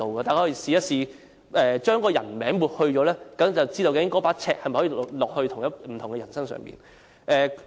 大家試試把評論中的人名抹去，便可知道該把尺可否放在不同的人身上。